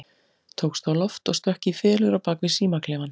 Tókst á loft og stökk í felur á bak við símaklefann.